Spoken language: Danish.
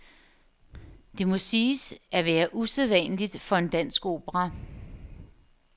Det må siges at være usædvanligt for en dansk opera.